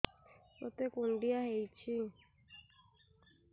ମୋତେ କୁଣ୍ଡିଆ ହେଇଚି